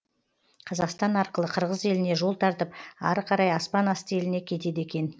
қазақстан арқылы қырғыз еліне жол тартып ары қарай аспан асты еліне кетеді екен